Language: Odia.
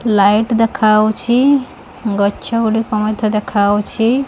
ଲାଇଟ୍ ଦେଖାଯାଉଛି ଗଛଗୁଡ଼ିକ ମଧ୍ୟ ଦେଖାଯାଉଛି।